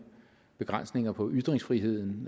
begrænsninger på ytringsfriheden